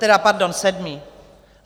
Tedy pardon, sedmý.